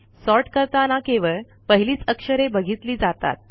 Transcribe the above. sort करताना केवळ पहिलीच अक्षरे बघितली जातात